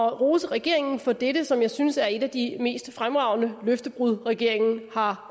at rose regeringen for dette som jeg synes er et af de mest fremragende løftebrud regeringen har